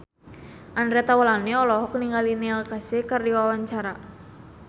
Andre Taulany olohok ningali Neil Casey keur diwawancara